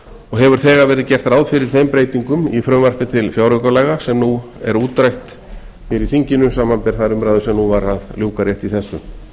og hefur þegar verið gert ráð fyrir þeim breytingum í frumvarpi til fjáraukalaga sem nú er útrætt hér í þinginu samanber þær umræður sem var að ljúka rétt í þessu